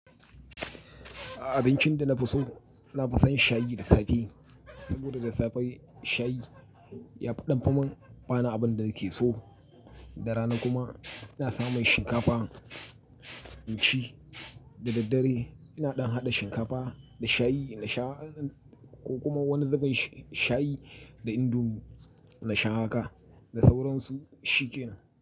Abincin da na fi so, na fi son shayi da safe. Saboda da safe, shayi yafi ɗan fi min, ba ni abun da nake so. Da rana kuma ina samun shinkafa in ci. Da daddare, ina ɗan haɗa shinkafa da shayi na sha, ko kuma wani zubin, shayi da indomi, na sha haka. Da sauran su, shi ke nan.